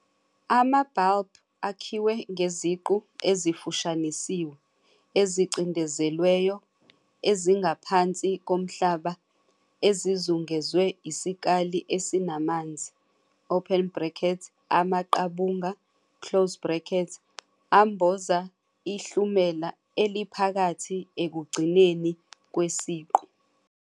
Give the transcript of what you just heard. Ama-bulb akhiwe ngeziqu ezifushanisiwe, ezicindezelweyo, ezingaphansi komhlaba ezizungezwe isikali esinamanzi, amaqabunga, amboza ihlumela eliphakathi ekugcineni kwesiqu.